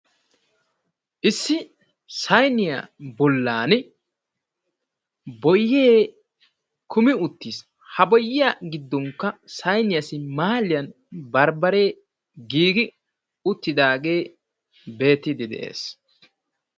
Issi sayniya bollan boyyee kumi uttiis. Ha boyyiya giddonkka sayniyassi maaliyan barbbaree giigi uttidaagee beettiiddi de'ees.